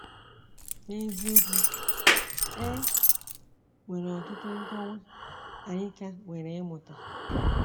N’eziokwu, e nwere ọtụtụ nkọwa anyị ka nwere ịmụta.